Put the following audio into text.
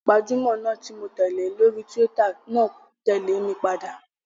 Gbajúmọ̀ náà ti mó tẹ̀lé lórí túwítà náà tẹ̀lé mi padà